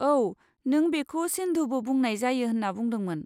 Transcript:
औ, नों बेखौ सिन्धुबो बुंनाय जायो होन्ना बुंदोंमोन।